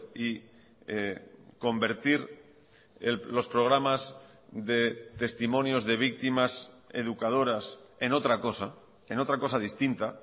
y convertir los programas de testimonios de víctimas educadoras en otra cosa en otra cosa distinta